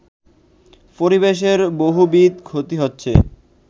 পরিবেশের বহুবিধ ক্ষতি হচ্ছে